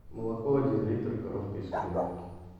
молоко один литр коровка из кореновки